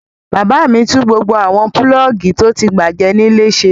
Bàbá mi tún gbogbo àwọn pulọ́ọ́gì tó ti bàjẹ́ nílé ṣe.